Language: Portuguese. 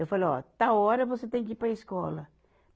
Eu falei, ó, tal hora você tem que ir para a escola.